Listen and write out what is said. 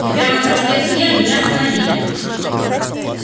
и прямо на проспекте мира меня остановили